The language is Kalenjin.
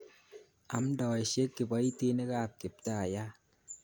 Amndoisye kipoitinik ap Kiptaiyat.